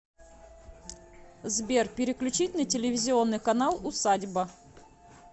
сбер переключить на телевизионный канал усадьба